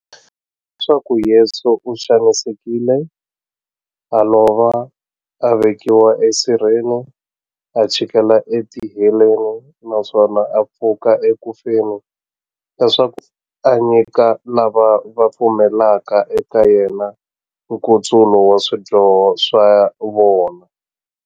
Leswaku Yesu u xanisekile, a lova, a vekiwa esirheni, a chikela etiheleni, naswona a pfuka eku feni, leswaku a nyika lava va pfumelaka eka yena, nkutsulo wa swidyoho swa vona.